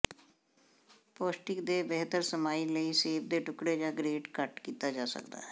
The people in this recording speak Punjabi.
ਪੌਸ਼ਟਿਕ ਦੇ ਬਿਹਤਰ ਸਮਾਈ ਲਈ ਸੇਬ ਦੇ ਟੁਕੜੇ ਜ ਗਰੇਟ ਕੱਟ ਕੀਤਾ ਜਾ ਸਕਦਾ ਹੈ